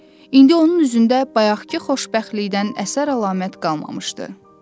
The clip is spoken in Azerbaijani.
İndi onun üzündə bayaqkı xoşbəxtlikdən əsər-əlamət qalmamışdı.